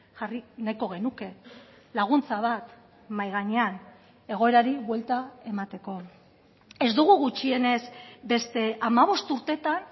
jarri nahiko genuke laguntza bat mahai gainean egoerari buelta emateko ez dugu gutxienez beste hamabost urteetan